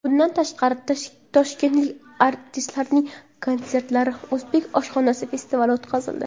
Bundan tashqari, toshkentlik artistlarning konsertlari, o‘zbek oshxonasi festivali o‘tkazildi.